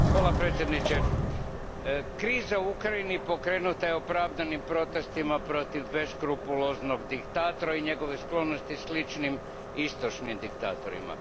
Gospodine predsjedniče, kriza u Ukrajini pokrenuta je opravdanim protestima protiv beskrupuloznog diktatora i njegove sklonosti sličnim istočnim diktatorima.